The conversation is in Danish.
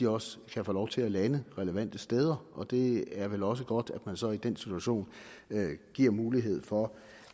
også kan få lov til at lande relevante steder det er vel også godt at man så i den situation giver mulighed for